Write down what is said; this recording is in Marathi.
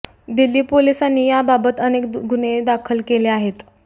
दिल्ली पोलिसांनी या बाबत अनेक गुन्हे दाखल केले आहेत